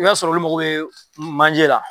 I b'a sɔrɔ olu mago bɛ manjɛ la.